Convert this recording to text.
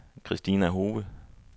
Christina Hove